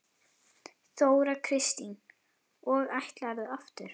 Þóra Kristín: Og ætlarðu aftur?